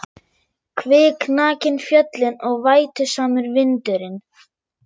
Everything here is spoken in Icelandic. Kviknakin fjöllin og vætusamur vindur- inn.